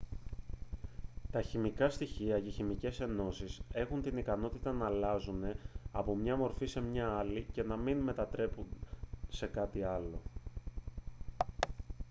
τα χημικά στοιχεία και οι χημικές ενώσεις έχουν την ικανότητα να αλλάζουν από μια μορφή σε μια άλλη και να μην μετατραπούν σε κάτι άλλο